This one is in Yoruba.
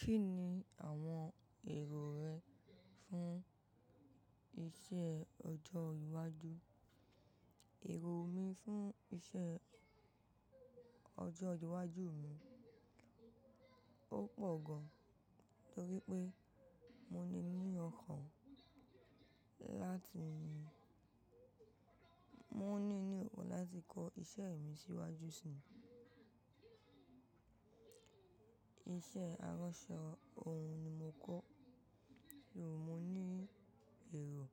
Kí ni àwọn èrò rẹ fún iṣẹ́ ọjọ́ iwájú? Èrò mi fún iṣẹ́ ọjọ́ iwájú mi, ó pọ̀ gan, torí pé mo ní níyì ọkàn láti, mo ní ní okòn láti kọ́ iṣẹ́ mi síwájú si. Iṣẹ́ aránṣọ ohun ni mo kọ́, ṣùgbọ́n mo ní èrò